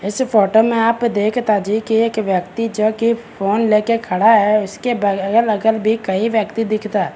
इस फोटो में आप देखता जी की एक व्यक्ति जो की फ़ोन लेके खड़ा है उसके ब अगल-अगल भी कई व्यक्ति दिखता।